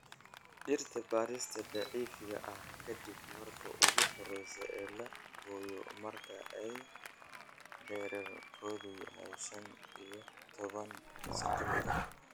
Dhirta bariiska daciifka ah ka dib marka ugu horeysa ee la gooyo marka ay dhererkoodu yahay shan iyo taban sentimitar